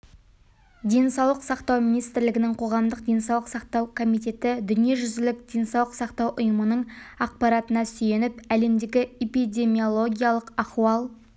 денсаулық сақтау министрлігінің қоғамдық денсаулық сақтау комитеті дүниежүзілік денсаулық сақтау ұйымының ақпаратына сүйеніп әлемдегі эпидемиологиялық ахуал